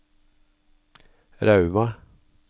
Rauma